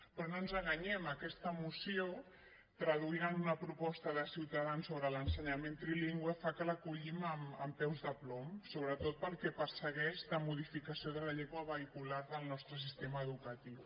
però no ens enganyem aquesta moció traduïda en una proposta de ciutadans sobre l’ensenyament trilingüe fa que l’acollim amb peus de plom sobretot pel que persegueix de modificació de la llengua vehicular del nostre sistema educatiu